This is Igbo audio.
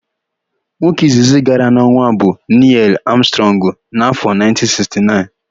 Nwoke izizi gara n'ọnwa bụ Nịel Amstrọngụ n'áfọ̀ 1969.